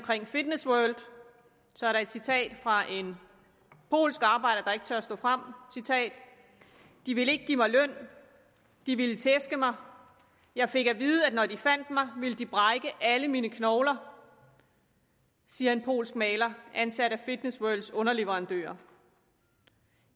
fitness world så er der et citat fra en polsk arbejder der ikke tør stå frem de ville ikke give mig løn de ville tæske mig jeg fik at vide at når de fandt mig ville de brække alle mine knogler siger en polsk maler ansat af fitness worlds underleverandører …